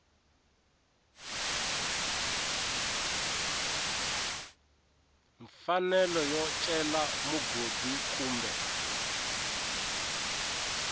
mfanelo yo cela mugodi kumbe